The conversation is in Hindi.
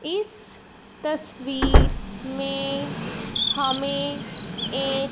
इस तस्वीर में हमें एक--